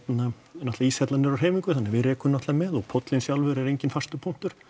náttúrulega íshellan er á hreyfingu þannig að við rekum náttúrulega með og póllinn sjálfur er enginn fastur punktur